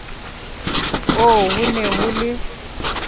oo ho ne ho le